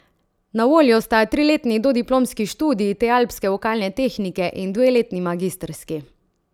Na voljo sta triletni dodiplomski študij te alpske vokalne tehnike in dveletni magistrski.